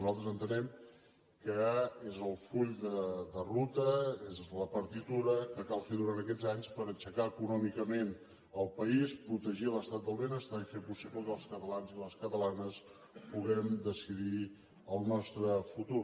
nosaltres entenem que és el full de ru·ta és la partitura que cal fer durant aquests anys per aixecar econòmicament el país protegir l’estat del benestar i fer possible que els catalans i les catalanes puguem decidir el nostre futur